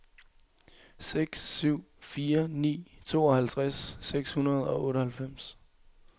seks syv fire ni tooghalvtreds seks hundrede og otteoghalvfems